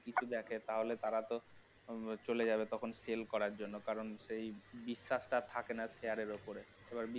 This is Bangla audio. দেখে তাহলে তারা তো চলে যাবে তখন sell করার জন্য কারণ সেই বিশ্বাসটা আর থাকেনা share এর উপরে